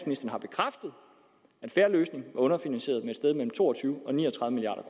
en fair løsning var underfinansieret med et sted mellem to og tyve og ni og tredive milliard